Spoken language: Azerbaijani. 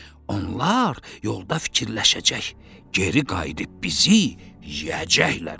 Onlar yolda fikirləşəcək, geri qayıdıb bizi yeyəcəklər.